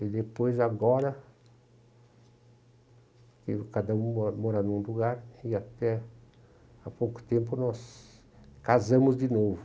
E depois, agora, cada um mora mora num lugar e até há pouco tempo nós casamos de novo.